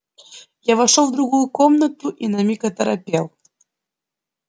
я вошёл в другую комнату и на миг оторопел